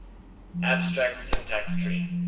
abstract syntax tree